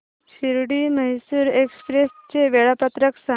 Shirdi Mysore express चे वेळापत्रक सांग